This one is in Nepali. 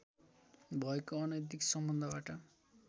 भएको अनैतिक सम्बन्धबाट